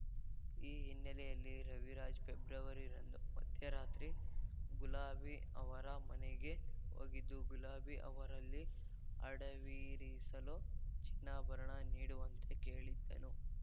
ಈ ಹಿನ್ನೆಲೆಯಲ್ಲಿ ರವಿರಾಜ್ ಪೆಬ್ರವರಿ ರಂದು ಮಧ್ಯರಾತ್ರಿ ಗುಲಾಬಿ ಅವರ ಮನೆಗೆ ಹೋಗಿದ್ದು ಗುಲಾಬಿ ಅವರಲ್ಲಿ ಅಡವಿರಿಸಲು ಚಿನ್ನಾಭರಣ ನೀಡುವಂತೆ ಕೇಳಿದ್ದನು